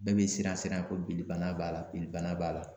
Bɛɛ be siran siran ko binni bana b'a la binni bana b'a la.